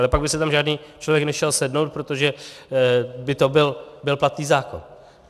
Ale pak by si tam žádný člověk nešel sednout, protože by to byl platný zákon.